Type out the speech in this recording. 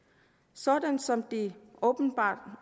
sådan som det åbenbart